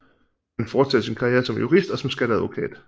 Han fortsatte sin karriere som jurist og som skatteadvokat